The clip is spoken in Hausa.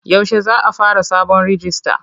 Yaushe za a fara sabon rijista?